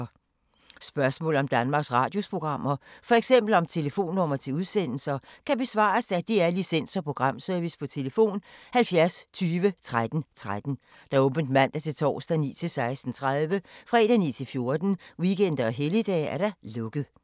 Spørgsmål om Danmarks Radios programmer, f.eks. om telefonnumre til udsendelser, kan besvares af DR Licens- og Programservice: tlf. 70 20 13 13, åbent mandag-torsdag 9.00-16.30, fredag 9.00-14.00, weekender og helligdage: lukket.